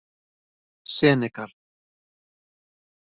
Senegal